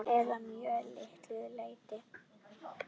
Eða að mjög litlu leyti.